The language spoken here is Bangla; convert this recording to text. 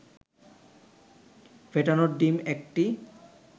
ফেটানো ডিম ১টি